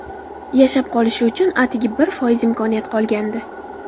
Yashab qolishi uchun atigi bir foiz imkoniyat qolgandi.